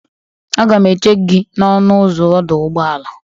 Aga m eche gị n'ọnụ ụzọ ọdụ ụgbọala.